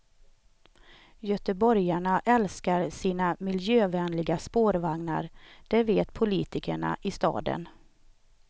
Göteborgarna älskar sina miljövänliga spårvagnar, det vet politikerna i staden.